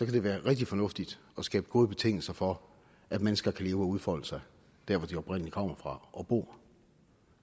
det være rigtig fornuftigt at skabe gode betingelser for at mennesker kan leve og udfolde sig der hvor de oprindelig kommer fra og bor